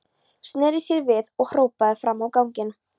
Sneri sér svo við og hrópaði fram á ganginn.